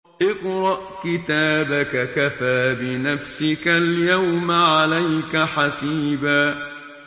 اقْرَأْ كِتَابَكَ كَفَىٰ بِنَفْسِكَ الْيَوْمَ عَلَيْكَ حَسِيبًا